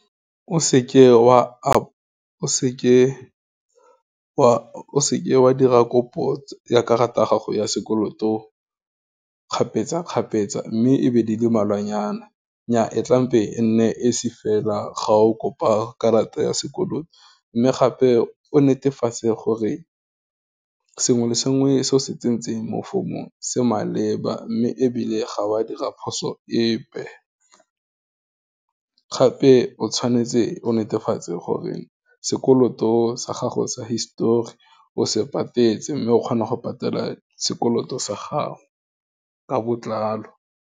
O seke wa dira kopo ya karata ya gago ya sekoloto kgapetsa-kgapetsa, mme e be di le malwanyana, nnya e tlampe e nne e esi fela, ga o kopa karata ya sekoloto, mme gape o netefatse gore sengwe le sengwe se o se tsentseng mo form-ong se maleba, mme ebile ga wa dira phoso epe, gape o tshwanetse o netefatse gore sekoloto sa gago sa histori, o se patetse, mme o kgona go patela sekoloto sa gago, ka botlalo.